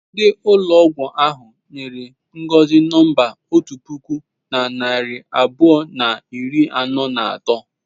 Ndi ụlọgwụ ahụ nyere Ngọzi nọmba otu puku na narị abụọ na iri anọ na atọ.